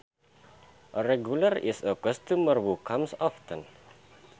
A regular is a customer who comes often